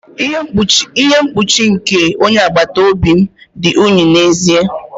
Ihe mkpuchi nke onye agbata obi m dị unyi n'ezie.